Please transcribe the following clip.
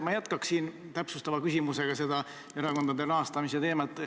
Ma jätkan täpsustava küsimusega seda erakondade rahastamise teemat.